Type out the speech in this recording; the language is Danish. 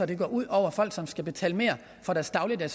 det går ud over folk som skal betale mere for deres dagligvarer